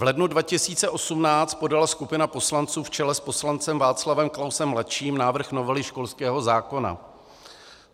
V lednu 2018 podala skupina poslanců v čele s poslancem Václavem Klausem ml. návrh novely školského zákona.